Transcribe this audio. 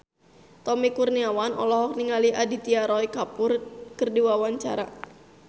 Tommy Kurniawan olohok ningali Aditya Roy Kapoor keur diwawancara